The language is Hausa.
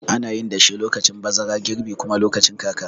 Anayin dashe lokacin bazara, girbi kuma lokacin kaka.